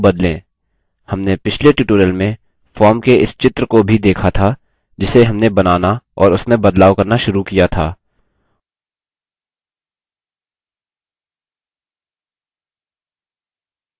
हमने पिछले tutorial में form के इस चित्र को भी देखा था जिसे हमने बनाना और उसमें बदलाव करना शुरू किया था